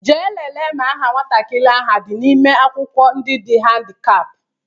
Jee lele ma aha nwatakịrị ahụ adị n'ime akwụkwọ ndị dị handikap!